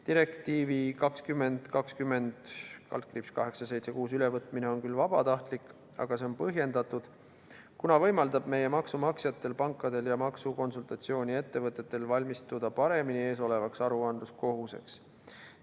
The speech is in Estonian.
Direktiivi 2020/876 ülevõtmine on küll vabatahtlik, aga see on põhjendatud, kuna võimaldab meie maksumaksjatel, pankadel ja maksukonsultatsiooniettevõtetel paremini valmistuda eesolevaks aruandluskohuseks.